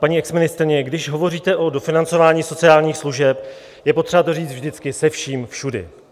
Paní exministryně, když hovoříte o dofinancování sociálních služeb, je potřeba to říct vždycky se vším všudy.